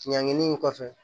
Ɲangini in kɔfɛ